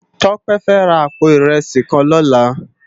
Tope fè rá àpó irèsí kán lòlá